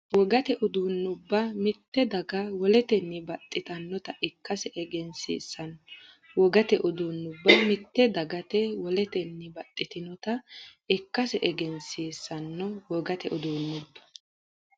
Wogate uduunnubba mitte dagati woletenni baxxitinota ikkase egensiis- sanno Wogate uduunnubba mitte dagati woletenni baxxitinota ikkase egensiis- sanno Wogate uduunnubba.